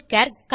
butcher